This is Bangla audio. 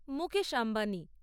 মুকেশ আম্বানি